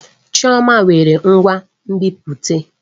Chioma nwere ngwa nbipute.